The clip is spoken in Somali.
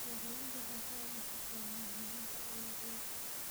Beeraleydu waxay ka wada shaqeeyaan horumarinta dalagyada.